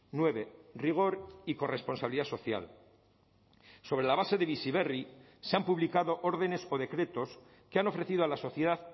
nueve rigor y corresponsabilidad social sobre la base de bizi berri se han publicado órdenes o decretos que han ofrecido a la sociedad